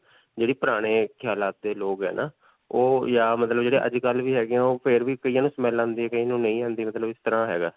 ਜਿਹੜੇ ਪੁਰਾਣੇ ਖਿਆਲਾਂ ਦੇ ਲੋਕ ਹੈ ਨਾ. ਓਹ ਜਾਂ ਮਤਲਬ ਜਿਹੜੇ ਅੱਜਕਲ੍ਹ ਵੀ ਹੈਗੇ ਓਹ ਫਿਰ ਵੀ ਕਈਆਂ ਨੂੰ smell ਆਉਂਦੀ ਹੈ ਕਈਆਂ ਨੂੰ ਨਹੀਂ ਆਉਂਦੀ. ਮਤਲਬ ਇਸ ਤਰ੍ਹਾਂ ਹੈਗਾ.